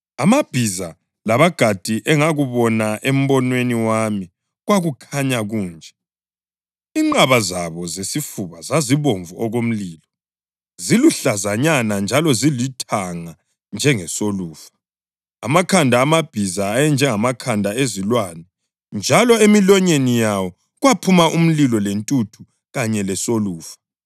Amabhiza labagadi engakubona embonweni wami kwakukhanya kunje: Inqaba zabo zesifuba zazibomvu okomlilo, ziluhlazanyana njalo zilithanga njengesolufa. Amakhanda amabhiza ayenjengamakhanda ezilwane njalo emilonyeni yawo kwaphuma umlilo lentuthu kanye lesolufa.